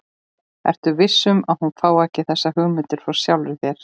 Ertu viss um, að hún fái ekki þessar hugmyndir frá sjálfri þér?